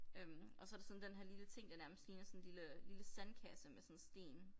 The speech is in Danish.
Øh og så der sådan den her lille ting der nærmest ligner sådan lille lille sandkasse med sådan sten